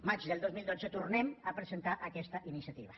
maig del dos mil dotze tornem a presentar aquesta iniciativa